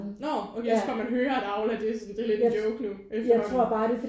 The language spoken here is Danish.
Nårh okay jeg synes bare man hører at Aula det sådan det er lidt en joke nu efterhånden